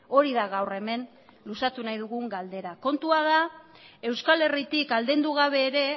hori da gaur hemen luzatu nahi dugun galdera kontua da euskal herritik aldendu gabe ere